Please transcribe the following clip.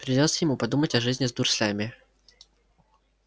придётся ему подумать о жизни с дурслями